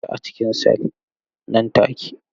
Kulle shi a cikin sel nan take!